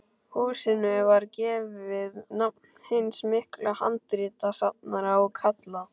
Húsinu var gefið nafn hins mikla handritasafnara og kallað